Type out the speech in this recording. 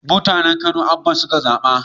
Mutanen kano Abba suka zaba